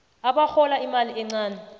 abarhola imali encani